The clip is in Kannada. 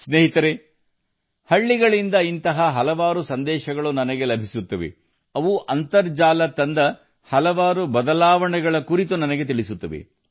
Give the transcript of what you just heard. ಸ್ನೇಹಿತರೇ ನಾನು ಹಳ್ಳಿಗಳಿಂದ ಇಂತಹ ಹಲವಾರು ಸಂದೇಶಗಳನ್ನು ಪಡೆಯುತ್ತೇನೆ ಅದು ಅಂತರ್ಜಾಲದಿಂದ ತಂದ ಬದಲಾವಣೆಗಳನ್ನು ನನ್ನೊಂದಿಗೆ ಹಂಚಿಕೊಳ್ಳುತ್ತದೆ